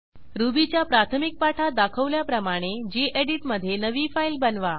रुबीच्या प्राथमिक पाठात दाखवल्याप्रमाणे गेडीत मधे नवी फाईल बनवा